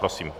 Prosím.